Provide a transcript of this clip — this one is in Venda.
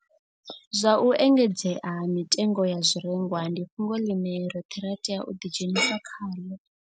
Zwa u engedzea ha mitengo ya zwirengwa ndi fhungo ḽine roṱhe ra tea u ḓi dzhenisa khaḽo,